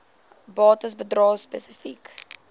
bates bedrae spesifiek